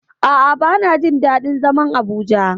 A'a bana jin daɗin zaman Abuja.